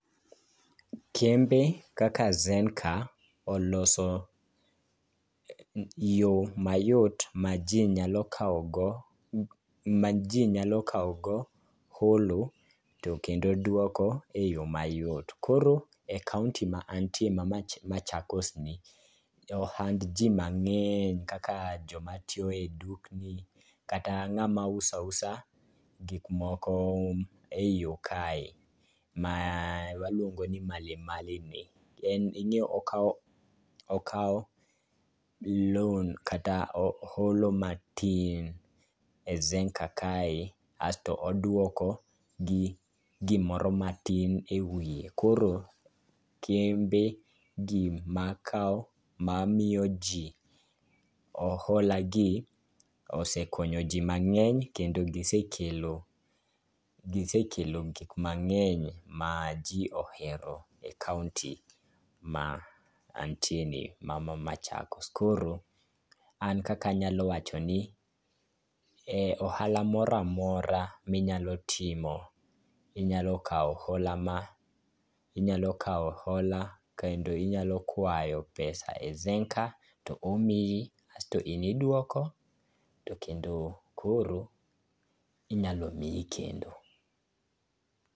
Kembe kaka Zenka oloso yo mayot ma ji nyalo kawogo holo to kendo dwoko e yo mayot. Koro e kaonti ma antie ma Machakosni, jo ohand ji mang'eny kaka jomatiyo e dukni kata ng'ama uso ausa gikmoko e yo kae, ma waluongo ni malimalini, en ing'eyo okawo loan kata holo matin e Zenka kae aeto odwoko gi gimoro matin e wiye. koro kembegi ma miyo ji oholagi osekonyo ji mang'eny kendo gisekelo gik mang'eny ma ji ohero e kaonti ma antieni, ma Machakos. Koro an kaka anyalo wacho ni ohala mora mora minyalo timo, inyalo kawo hola kendo inyalo kwayo pesa e Zenka to omiyi, asto in idwoko to kendo koro inyalo miyi kendo.